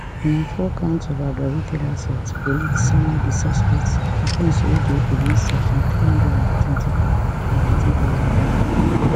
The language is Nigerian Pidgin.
na four counts of aggravated assault police sama di suspects offence wey dey against section three hundred and twenty-four of di two thousand penal code